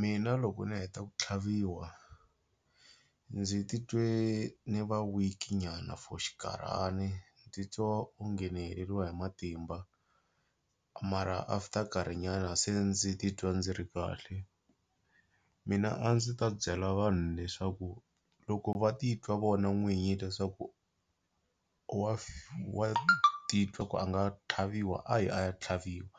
Mina loko ni heta ku tlhaviwa ndzi titwe ni va weak nyana for xinkarhana ni titwa onge ni heleriwa hi matimba mara after nkarhinyana se ndzi titwa ndzi ri kahle. Mina a ndzi ta byela vanhu leswaku loko va titwa vona n'winyi leswaku wa wa titwa ku a nga tlhaviwa a yi a ya tlhaviwa